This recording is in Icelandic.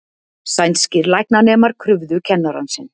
Sænskir læknanemar krufðu kennarann sinn